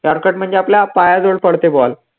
yorker म्हणजे आपल्या पायाजवळ पडते ball